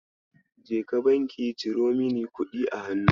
Jeka banki ka ciro mini kuɗi a hannu.